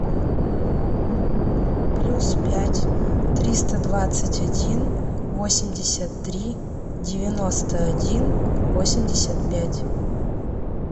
плюс пять триста двадцать один восемьдесят три девяносто один восемьдесят пять